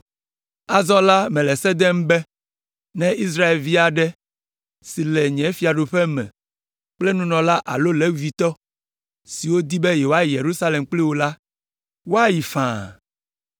Azɔ la, mele se dem be, ne Israelvi aɖe si le nye fiaɖuƒe me kple nunɔla alo Levitɔ siwo di be yewoayi Yerusalem kpli wò la, woayi faa.